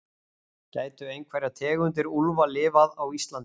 gætu einhverjar tegundir úlfa lifað á íslandi